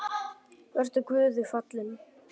Vertu Guði falinn.